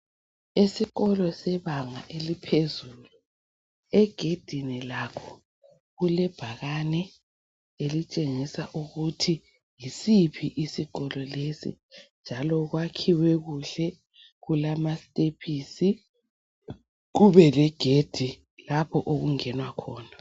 Esikolo sebanga eliphezulu egedini lakho kulebhakane elitshengisa ukuthi yisiphi isikolo lesi njalo kwakhiwe kuhle kulamasitephisi kube legedi lapho okungenwa khona.